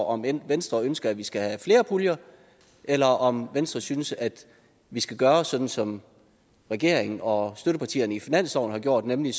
om venstre ønsker at vi skal have flere puljer eller om venstre synes at vi skal gøre sådan som regeringen og støttepartierne til finansloven har gjort nemlig